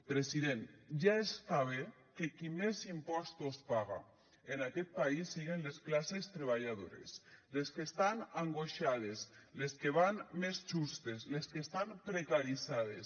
president ja està bé que qui més impostos paga en aquest país siguen les classes treballadores les que estan angoixades les que van més justes les que estan precaritzades